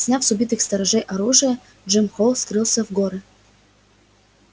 сняв с убитых сторожей оружие джим холл скрылся в горы